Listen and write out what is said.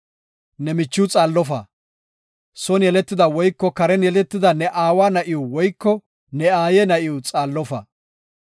“Ne michiw xaallofa; son yeletida woyko karen yeletida ne aawa na7iw woyko ne aaye na7iw xaallofa.